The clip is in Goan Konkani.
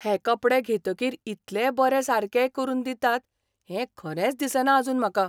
हे कपडे घेतकीर इतले बरे सारकेय करून दितात हें खरेंच दिसना आजून म्हाका.